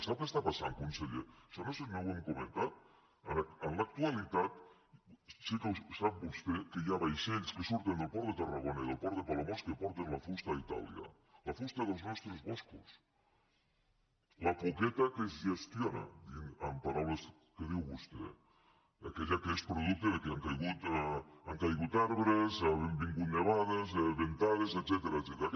sap què passa conseller això no ho hem comentat en l’actualitat sap vostè que hi ha vaixells que surten del port de tarragona i del port de palamós que porten la fusta a itàlia la fusta dels nostres boscos la poqueta que es gestiona amb paraules que diu vostè aquella que es producte del fet que han caigut arbres han vingut nevades ventades etcètera